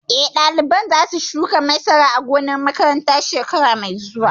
Eh, ɗaliban za su shuka masara a gonar makaranta shekara mai zuwa